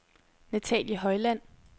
Nathalie Højland